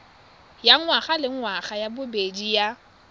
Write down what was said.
ya ngwagalengwaga ya bobedi ya